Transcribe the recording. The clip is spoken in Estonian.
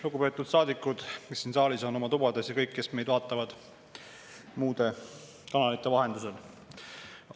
Lugupeetud saadikud, kes on siin saalis või oma tubades, ja kõik, kes meid vaatavad muude kanalite vahendusel!